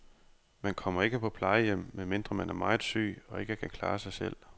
Man kommer ikke på plejehjem, medmindre man er meget syg og ikke kan klare sig selv.